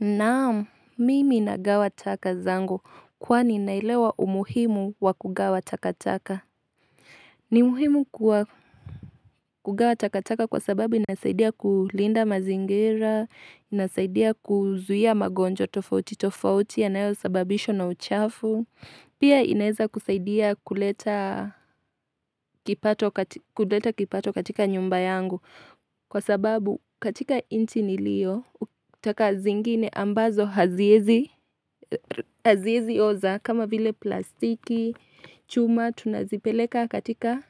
Naam, mimi nagawa taka zangu kwani naelewa umuhimu wa kugawa takataka. Ni muhimu kugawa takataka kwa sababu inasaidia kulinda mazingira, inasaidia kuzuia mgonjwa tofauti tofauti yanayosababishwa na uchafu. Pia inaeza kusaidia kuleta kipato katika nyumba yangu. Kwa sababu katika inchi nilio, taka zingine ambazo haziezi oza kama vile plastiki, chuma, tunazipeleka katika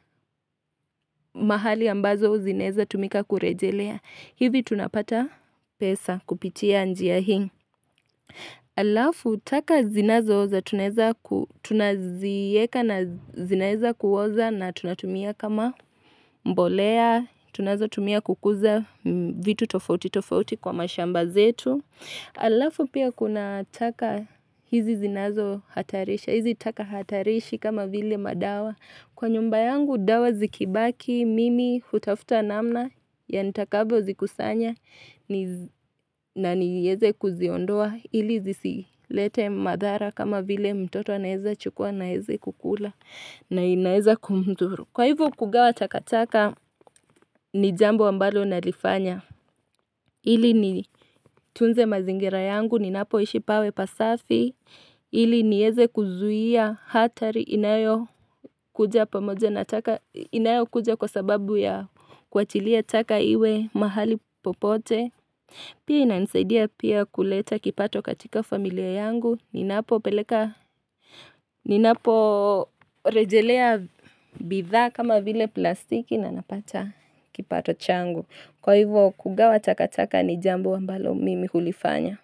mahali ambazo zinaeza tumika kurejelea. Hivi tunapata pesa kupitia njia hii. Alafu, taka zinazooza, tunazieka na zinaeza kuoza na tunatumia kama mbolea, tunazotumia kukuza vitu tofauti tofauti kwa mashamba zetu. Alafu pia kuna taka hizi zinazo hatarisha, hizi taka hatarishi kama vile madawa. Kwa nyumba yangu dawa zikibaki mimi hutafuta namna ya nitakavyo zikusanya na niyeze kuziondoa ili zisilete madhara kama vile mtoto anaeza chukua na aeze kukula na inaeza kumdhuru. Kwa hivo kugawa takataka ni jambo ambalo nalifanya. Ili nitunze mazingira yangu, ninapoishi pawe pasafi. Ili nieze kuzuhia hatari inayokuja pamoja na taka, inayo kuja kwa sababu ya kuachilia taka iwe mahali popote. Pia inanisaidia pia kuleta kipato katika familia yangu. Ninaporejelea bidhaa kama vile plastiki na napata. Kipato changu. Kwa hivyo kugawa takataka ni jambo ambalo mimi hulifanya.